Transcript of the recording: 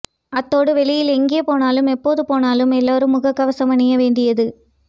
அத்தோடு வெளியில் எங்கே போனாலும் எப்போது போனாலும் எல்லோரும் முகக் கவசம் அணிய வேண்டியது